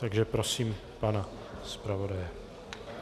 Takže prosím pana zpravodaje.